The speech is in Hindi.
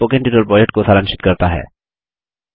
यह स्पोकन ट्यूटोरियल प्रोजेक्ट को सारांशित करता है